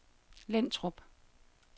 Lintrup